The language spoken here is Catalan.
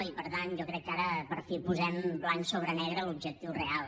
i per tant jo crec que ara per fi posem blanc sobre negre l’objectiu real